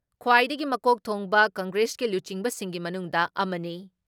ꯈ꯭ꯋꯥꯏꯗꯒꯤ ꯃꯀꯣꯛ ꯊꯣꯡꯕ ꯀꯪꯒ꯭ꯔꯦꯁꯀꯤ ꯂꯨꯆꯤꯡꯕꯁꯤꯡꯒꯤ ꯃꯅꯨꯡꯗ ꯑꯃꯅꯤ ꯫